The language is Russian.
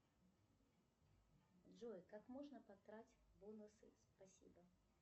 джой как можно потратить бонусы спасибо